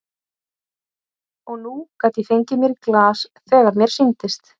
Og nú gat ég fengið mér í glas þegar mér sýndist.